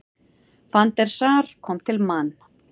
Van der Sar kom til Man.